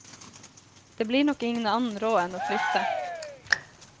Det blir nok ingen annen råd enn å flytte.